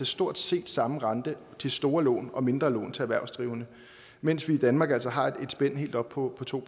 stort set samme rente til store lån og mindre lån til erhvervsdrivende mens vi i danmark altså har et spænd helt op på to